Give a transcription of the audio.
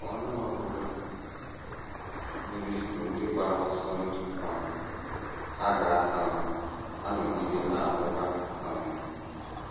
Ka ọnụ ọgụgụ buru ibu ndị gbara ọsọ ndụ um hà ga um - anọgide na - amụba? um